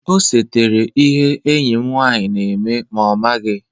O setara ihe enyi m nwanyị na-eme ma ọ maghị.